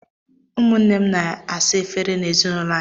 Ụmụnne m na m na-asa efere n'ezinaụlọ anyị.